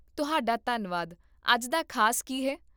ਤੁਹਾਡਾ ਧੰਨਵਾਦ ਅੱਜ ਦਾ ਖ਼ਾਸ ਕੀ ਹੈ?